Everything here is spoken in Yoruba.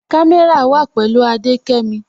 Kàmẹ́rà wà pẹ̀lú Adékẹ́mí